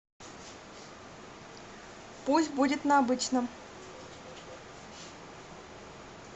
пусть будет на обычном